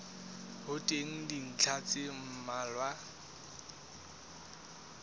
ho teng dintlha tse mmalwa